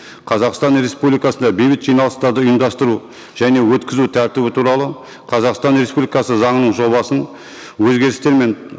қазақстан республикасында бейбіт жиналыстарды ұйымдастыру және өткізу тәртібі туралы қазақстан республикасы заңының жобасын өзгерістер мен